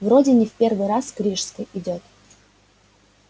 вроде не в первый раз к рижской идёт